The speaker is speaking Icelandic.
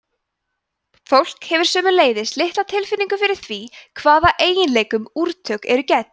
fólk hefur sömuleiðis litla tilfinningu fyrir því hvaða eiginleikum úrtök eru gædd